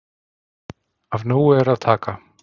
Af nógu er að taka.